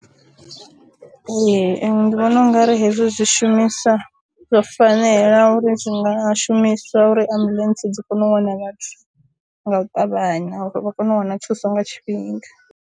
Ee ndi vhona ungari hezwo zwi shumiswa, zwo fanela uri zwi nga shumiswa uri ambuḽentse dzi kone u wana vhathu nga u ṱavhanya uri vha kone u wana thuso nga tshifhinga.